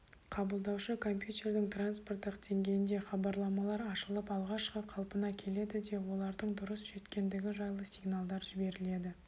қабылдаушы компьютердің транспорттық деңгейінде хабарламалар ашылып алғашқы қалпына келеді де олардың дұрыс жеткендігі жайлы сигналдар жіберіледі